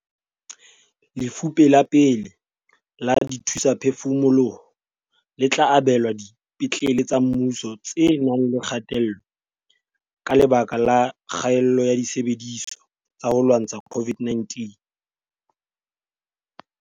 Lefupe la pele la dithusaphefumoloho le tla abelwa dipetlele tsa mmuso tse nang le kgatello ka lebaka la kgaello ya disebediswa tsa ho lwantsha COVID-19.